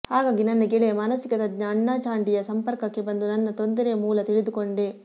ಹಾಗಾಗಿ ನನ್ನ ಗೆಳೆಯ ಮಾನಸಿಕ ತಜ್ಞ ಅಣ್ಣಾ ಚಾಂಡಿಯ ಸಂಪರ್ಕಕ್ಕೆ ಬಂದು ನನ್ನ ತೊಂದರೆಯ ಮೂಲ ತಿಳಿದುಕೊಂಡೆ